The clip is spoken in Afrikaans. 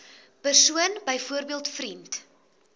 persoon byvoorbeeld vriend